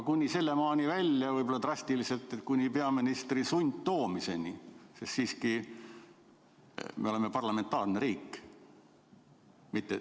Kuni selleni välja drastiliselt, kuni peaministri sundtoomiseni, sest siiski me oleme parlamentaarne riik.